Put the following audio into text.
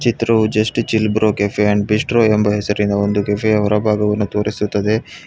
Throw just chill bro cafe and bistro ಎಂಬ ಹೆಸರಿನ ಒಂದು ಕೆಫೆಯ ಹೊರಭಾಗವನ್ನು ತೋರಿಸುತ್ತದೆ.